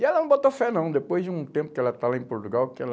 E ela não botou fé não, depois de um tempo que ela está lá em Portugal, que ela...